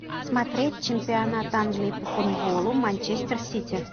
смотреть чемпионат англии по футболу манчестер сити